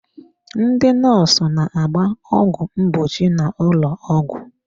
Ndị nọọsụ na-agba ọgwụ mgbochi n'ụlọ ọgwụ.